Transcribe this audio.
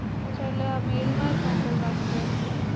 અચ્છા એટલે આ mail માં જ મોકલવાનું રેસે?